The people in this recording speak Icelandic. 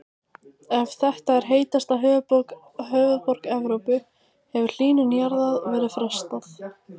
Ef þetta er heitasta höfuðborg Evrópu hefur hlýnun jarðar verið frestað.